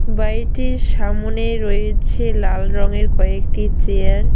বাড়িটির সামোনে রয়েছে লাল রঙের কয়েকটি চেয়ার ।